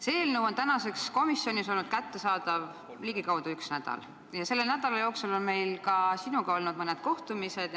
See eelnõu on tänaseks olnud komisjonis kättesaadav ligikaudu üks nädal ja selle nädala jooksul on meil sinuga olnud mõned kohtumised.